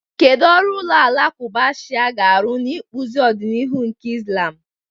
Kedu ọrụ ụlọ alakụba Shia ga-arụ n'ịkpụzi ọdịnihu nke Islam?